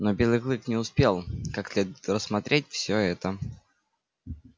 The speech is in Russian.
но белый клык не успел как следует рассмотреть всё это